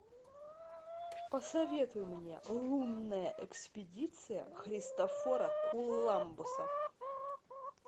посоветуй мне лунная экспедиция христофора кулламбуса